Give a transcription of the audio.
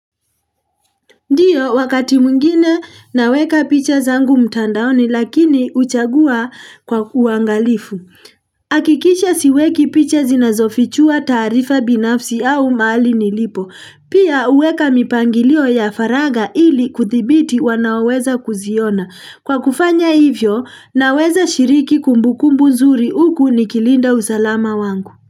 Ndiyo, wakati mwingine naweka picha zangu mtandaoni lakini huchagua kwa uangalifu. Hakikisha siweki picha zinazofichua taarifa binafsi au mahali nilipo. Pia huweka mipangilio ya faraga ili kuthibiti wanao weza kuziona. Kwa kufanya hivyo, naweza shiriki kumbukumbu nzuri huku nikilinda usalama wangu.